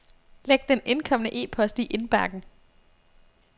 Læg den indkomne e-post i indbakken.